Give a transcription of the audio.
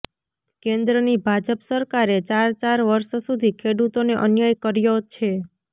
કેન્દ્રની ભાજપ સરકારે ચાર ચાર વર્ષ સુધી ખેડૂતોને અન્યાય કર્યો છે